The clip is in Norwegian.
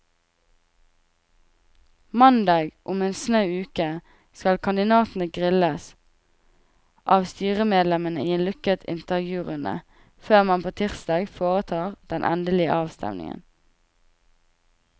Mandag om en snau uke skal kandidatene grilles av styremedlemmene i en lukket intervjurunde, før man på tirsdag foretar den endelige avstemning.